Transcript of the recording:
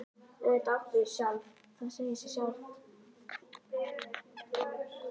Auðvitað áttu þig sjálf, það segir sig sjálft.